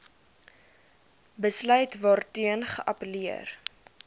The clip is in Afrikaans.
besluit waarteen geappelleer